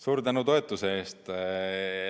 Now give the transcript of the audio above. Suur tänu toetuse eest!